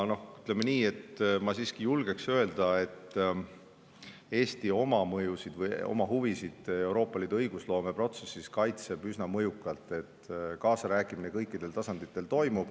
Ma siiski julgeksin öelda, et Eesti kaitseb oma mõjusid või huvisid Euroopa Liidu õigusloome protsessis üsna mõjukalt, kaasarääkimine toimub kõikidel tasanditel.